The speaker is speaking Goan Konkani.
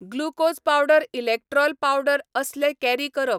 ग्लुकोज पावडर इलॅक्ट्रॉल पावडर असले कॅरी करप.